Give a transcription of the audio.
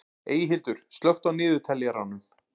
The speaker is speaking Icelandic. Eyhildur, slökktu á niðurteljaranum.